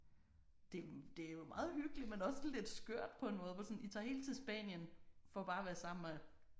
Det det er jo meget hyggeligt men også lidt skørt på en måde hvor sådan I tager helt til Spanien for bare at være sammen med